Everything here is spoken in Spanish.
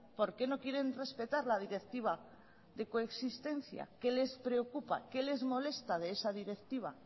por qué no quieren respetar la directiva de coexistencia qué les preocupa qué les molesta de esa directiva